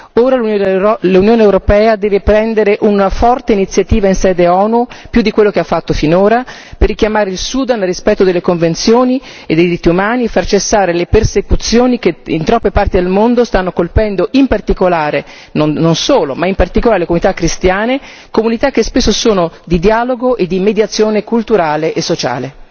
Ora l'Unione europea deve prendere una forte iniziativa in sede ONU più di quello che ha fatto finora per richiamare il Sudan al rispetto delle convenzioni e dei diritti umani e far cessare le persecuzioni che in troppe parti del mondo stanno colpendo in particolare, ma non solo, le comunità cristiane, comunità che spesso sono di dialogo e di mediazione culturale e sociale.